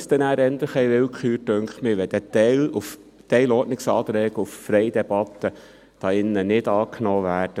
Es dünkt mich, es sei eher willkürlich, wenn ein Teil der Ordnungsanträge auf freie Debatte hier nicht angenommen werden.